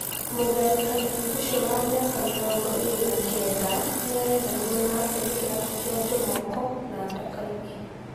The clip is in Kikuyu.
Mũtharĩkanĩri ũcio wa mĩaka mĩrongo ĩrĩ na kenda nĩarethanwo nake nĩ kĩrabu kĩa Njomoko na Dakaine Fc